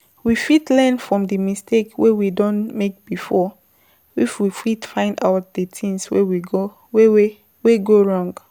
We fit learn from di mistakes wey we don make before if we fit find out di thing wey go wrong